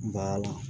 Ba la